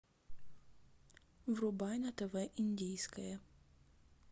врубай на тв индийское